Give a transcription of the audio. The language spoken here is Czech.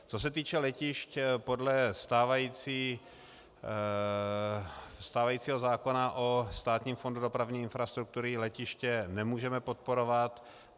Co se týče letišť, podle stávajícího zákona o Státním fondu dopravní infrastruktury letiště nemůžeme podporovat.